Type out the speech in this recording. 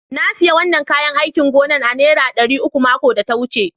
Na siya wanan kayán áikìn gona a'nera Dari uku makon da ta wuce.